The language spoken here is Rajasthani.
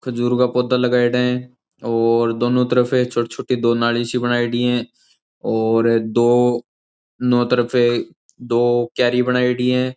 खजूर का पौधा लगयेड़ा है और दोनों तरफे छोटी छोटी दो नाली सी बनाईडी है और दो नो तरफे दो कियारी बनाइडी है।